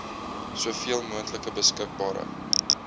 soveel moontlik beskikbare